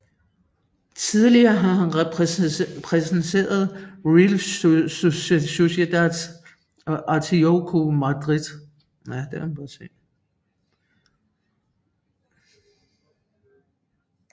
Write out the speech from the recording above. Tidligere har han repræsenteret Real Sociedad og Atletico Madrid